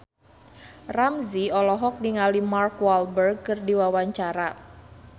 Ramzy olohok ningali Mark Walberg keur diwawancara